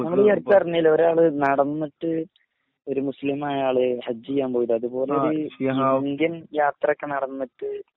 നമ്മളീ അടുത്ത് പറഞ്ഞില്ലെ ഒരാള് നടന്നട്ട് ഒരു മുസ്ലിമായൊരാൾ ഹജ്ജിയ്യാൻപോയിലെഅത് പോലൊരു ഇന്ത്യൻ യാത്രോക്കേ നടന്നിട്ട്